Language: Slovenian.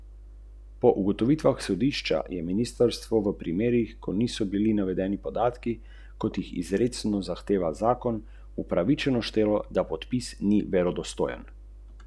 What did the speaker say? Ti in tvoje maČKe, ji je rekla, vedno ko pridem na obisk, so povsod te maČKe.